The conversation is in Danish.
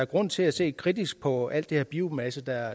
grund til at se kritisk på alt det her biomasse der